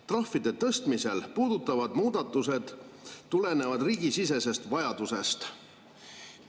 Trahvide tõstmist puudutavad muudatused tulenevad riigisisesest vajadusest ja ei ole seotud direktiivi ülevõtmisega.